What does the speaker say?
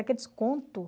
Aqueles conto